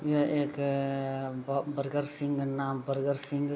यह एक ब बर्गर सिंह का नाम बर्गर सिंह।